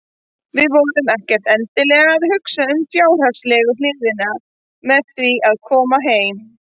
Við vorum ekkert endilega að hugsa um fjárhagslegu hliðina með því að koma heim.